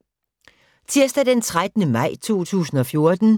Tirsdag d. 13. maj 2014